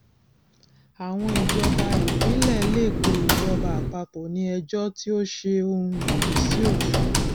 àwọn ìjọba ìpínlẹ lè pé ìjọba àpapọ ní ejò tí ó ṣe òun lòdì sí òfin